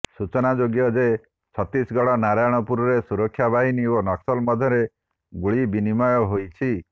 ସୂଚନାଯୋଗ୍ୟ ଯେ ଛତିଶଗଡ ନାରାୟଣପୁରରେ ସୁରକ୍ଷାବାହିନୀ ଓ ନକ୍ସଲ ମଧ୍ୟରେ ଗୁଳିବିନିମୟ ହୋଇଛି